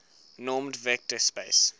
normed vector space